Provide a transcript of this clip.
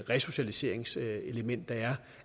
resocialiseringselement der er